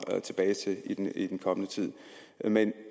tilbage til i den kommende tid men